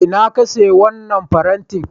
A ina ka saya wannan farenti?